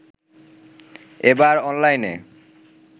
এবার অনলাইনে